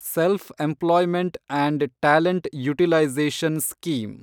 self-employment and talent utilisation scheme